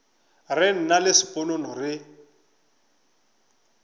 re nna le sponono re